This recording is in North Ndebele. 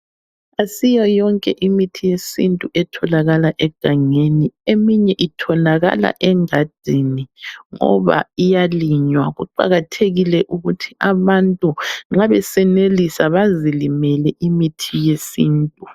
Asiyo yonke imithi yesintu etholakala egangeni, eminye itholakala engadini ngoba iyalinywa. Kuqakathekile ukuthi abantu nxa besenelisa bazilimele imithi yesintu.